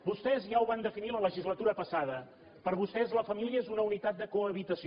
vostès ja ho van definir la legislatura passada per vostès la família és una unitat de cohabitació